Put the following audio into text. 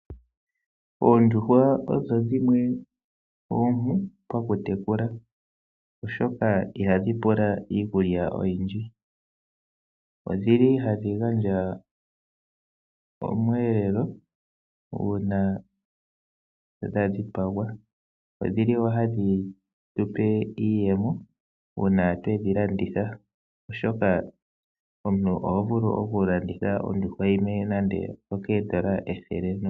Oondjuhwa odho dhimwe oompu oku tekula , oshoka ihadhi pula iikulya oyindji. Odhili hadhi gandja Omweelelo uuna dha dhipagwa, odhili wo hadhi tu pe iiyemo ngele dha landithwa, oshoka omuntu oho vulu oku landitha nande ondjuhwa yimwe okoondola ethele.